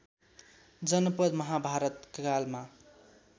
जनपद महाभारत कालमा